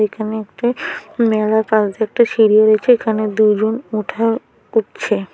এখানে একটি মেলা কাছ দিয়ে একটা সিরি রয়েছে এখানে দুজন ওঠার উঠছে।